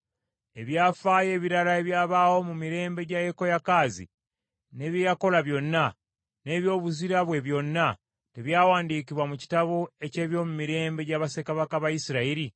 Ebyafaayo ebirala ebyabaawo mu mirembe gya Yekoyakaazi, ne bye yakola byonna, n’ebyobuzira bwe byonna, tebyawandiikibwa mu kitabo eky’ebyomumirembe gya bassekabaka ba Isirayiri?